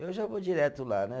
Eu já vou direto lá, né?